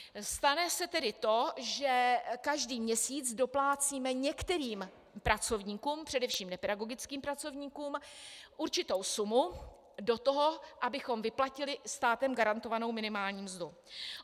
Stane se tedy to, že každý měsíc doplácíme některým pracovníkům, především nepedagogickým pracovníkům, určitou sumu do toho, abychom vyplatili státem garantovanou minimální mzdu.